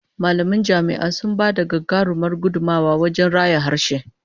Mallaman jami'a sun ba da gagarumar gudummuwa wajen raya harshe